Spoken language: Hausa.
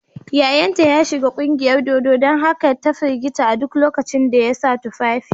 Yayanta ya shiga kungiyar dodo don haka ta firgita a duk lokacin da ya sa tufafi.